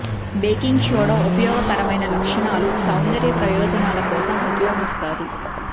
baking soda ఉపయోగకరమైన లక్షణాలు సౌందర్య ప్రయోజనాల కోసం ఉపయోగిస్తారు